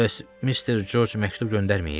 "Bəs Mister Corc məktub göndərməyib?"